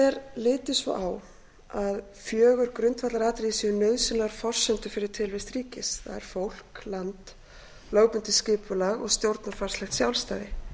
er litið svo á að fjögur grundvallaratriði séu nauðsynlegar forsendur fyrir tilvist ríkis það er fólk land lögbundið skipulag og stjórnarfarslegt sjálfstæði fátt